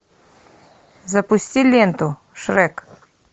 запусти ленту шрек